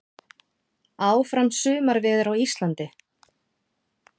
Áfram sumarveður á Íslandi